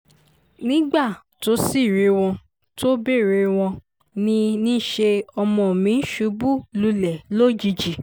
nígbà tó sì rí wọn tó béèrè wọn ní níṣẹ́ ni ọmọ mi ṣubú lulẹ̀ lójijì